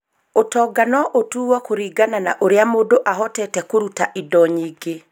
Ũtonga no ũtuo kũringana na ũrĩa mũndũ ahotete kũruta indo nyingĩ.